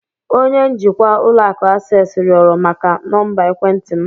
Onye njikwa ụlọ akụ Access rịọrọ maka nọmba ekwentị m.